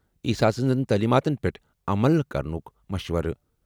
عیسیٰ سٕنٛزن تعلیماتن پیٚٹھ عمل کرنُک مشورٕ۔